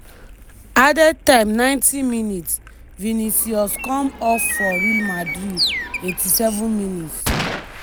added time 90mins- vinicius come off for real madrid. 87mins-